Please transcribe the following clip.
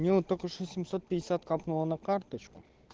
мне вот только что семьсот пятьдесят капнула на карточку